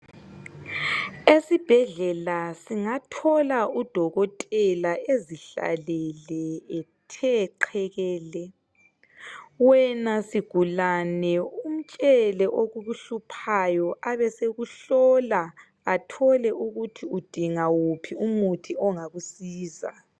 Esibhedlela singathola udokotela ezihlalele ethe qhekele wena sigulani umtshele okukuhluphayo abesekuhlola ethole ukuthi ugulani ebone ukuthi udinga uphi umuthi ongakusiza